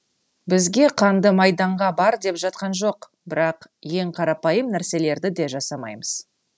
бізге қанды майданға бар деп жатқан жоқ бірақ ең қарапайым нәрселерді де жасамаймыз